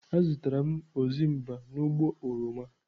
Azụtara m ozimba n'ubo oroma.